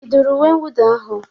Ị dụru uwe mwụda ahụ?